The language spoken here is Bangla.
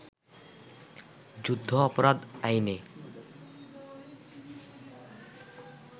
যুদ্ধাপরাধ আইনে